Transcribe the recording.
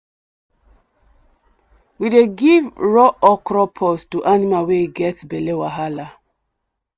we dey give raw okra pod to animal wey get belle wahala.